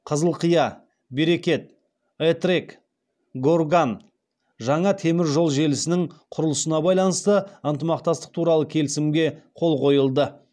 қызылқия берекет этрек горган жаңа темір жол желісінің құрылысына байланысты ынтымақтастық туралы келісімге қол қойылды